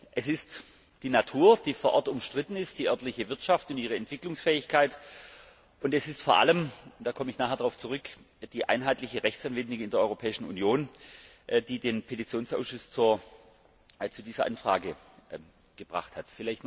Es ist die Natur, die vor Ort umstritten ist, die örtliche Wirtschaft in ihrer Entwicklungsfähigkeit, und es ist vor allem und da komme ich nachher darauf zurück die einheitliche Rechtsanwendung in der Europäischen Union, die den Petitionsausschuss zu dieser Anfrage veranlasst hat.